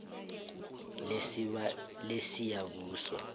lesiyabuswa